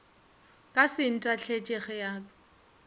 ka se ntahletše ge a